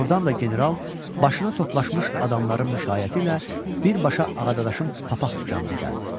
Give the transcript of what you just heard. Ordan da general başına toplaşmış adamların müşayiəti ilə birbaşa Ağadadaşın papaq dükanına gəldi.